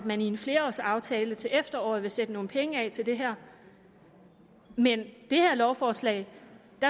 at man i en flerårsaftale til efteråret vil sætte nogle penge af til det her men i det her lovforslag